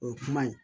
O ye kuma ye